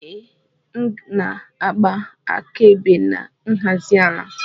Ee, m na-agba akaebe na nhazi ala